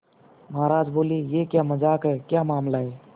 महाराज बोले यह क्या मजाक है क्या मामला है